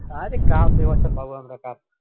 , আরে cup এবছর পাবো আমরা cup